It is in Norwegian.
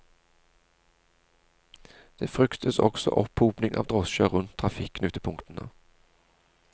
Det fryktes også opphopning av drosjer rundt trafikknutepunktene.